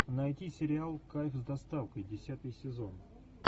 найти сериал кайф с доставкой десятый сезон